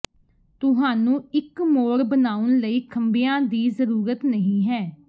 ਤੁਹਾਨੂੰ ਇੱਕ ਮੋੜ ਬਣਾਉਣ ਲਈ ਖੰਭਿਆਂ ਦੀ ਜ਼ਰੂਰਤ ਨਹੀਂ ਹੈ